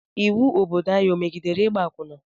Ịwu Obodo anyị o megidere ịgba akwụna?